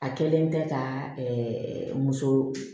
A kɛlen tɛ ka muso